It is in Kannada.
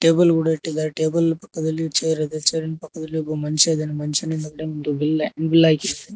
ಟೇಬಲ್ ಗುಡ ಇಟ್ಟಿದಾರೆ ಟೇಬಲ ಪಕ್ಕದಲ್ಲಿ ಚೇರ್ ಇದೆ ಚೇರಿನ ಪಕ್ಕದಲ್ಲಿ ಒಬ್ಬ ಮನುಷ್ಯ ಇದಾನೆ ಮನುಷನ್ ಮತ್ತು ಬಿಲ್ಲೆ ಬಿಲ್ ಆಗಿ --